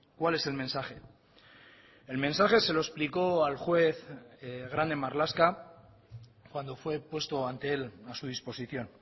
cuál es el mensaje el mensaje se lo explicó al juez grande marlaska cuando fue puesto ante él a su disposición